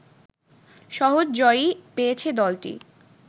সহজ জয়ই পেয়েছে দলটি